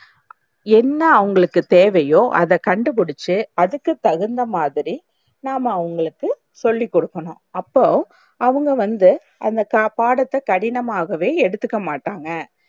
என்னா அவங்களுக்கு தேவையோ அத கண்டிபுடிச்சு அதுக்கு தகுந்தமாதிரி நாம்ம அவங்களுக்கு சொல்லிக்குடுக்கனும். அப்போ அவங்கவந்து அந்த பாடத்த கடினமாகவே எடுத்துக்கமாட்டாங்க